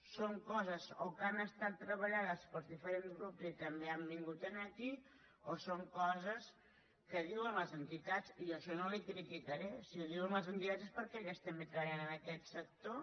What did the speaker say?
són coses que han estat treballades pels diferents grups i que també han vingut aquí o són coses que diuen les entitats i jo això no li criticaré si ho diuen les entitats és perquè elles també treballen en aquest sector